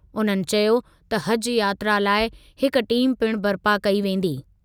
उन्हनि चयो त हज यात्रा लाइ हिकु टीम पिण बरिपा कई वेंदी।